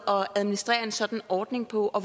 at administrere en sådan ordning på og